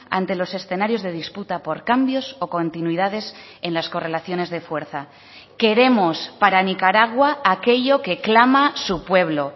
ante los escenarios de disputa por cambios o continuidades en las correlaciones de fuerza queremos para nicaragua aquello que clama su pueblo